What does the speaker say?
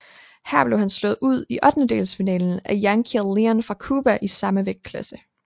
Her blev han slået ud i ottendelsfinalen af Yankiel Leon fra Cuba i samme vægtklasse